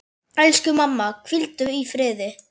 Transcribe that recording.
Elsku mamma, hvíldu í friði.